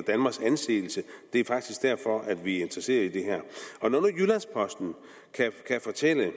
danmarks anseelse det er faktisk derfor at vi er interesseret i det her når nu jyllands posten kan fortælle